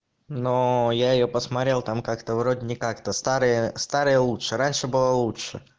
но я её посмотрел там как-то вроде не как-то старые старые лучше раньше было лучше